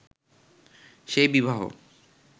সেই বিবাহ